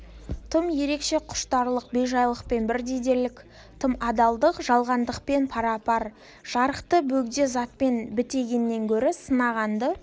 тым ерекше құштарлық бейжайлықпен бірдей дерлік тым адалдық жалғандықпен пара-пар жарықты бөгде затпен бітегеннен гөрі сынғанды